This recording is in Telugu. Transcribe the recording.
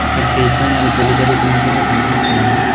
అక్కడ ఎదో స్టేజ్ పెళ్లి జరుగుతున్నట్లుగా కనిపిస్తుంది.